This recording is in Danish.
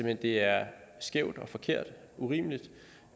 at det er skævt og forkert og urimeligt